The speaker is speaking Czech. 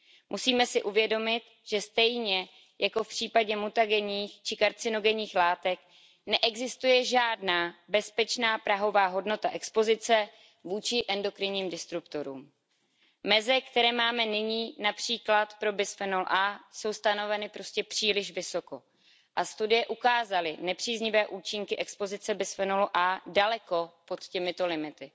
Musíme si uvědomit, že stejně jako v případě mutagenních či karcinogenních látek neexistuje žádná bezpečná prahová hodnota expozice vůči endokrinním disruptorům. Meze, které máme nyní, například pro bisfenol A, jsou stanoveny prostě příliš vysoko. Studie ukázaly nepříznivé účinky expozice bisfenolu A daleko pod těmito limity.